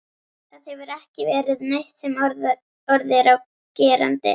Það hefur ekki verið neitt sem orð er á gerandi.